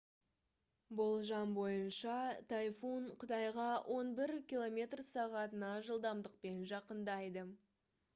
болжам бойынша тайфун қытайға он бір км/сағ жылдамдықпен жақындайды